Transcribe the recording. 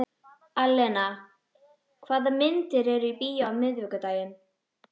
Alena, hvaða myndir eru í bíó á miðvikudaginn?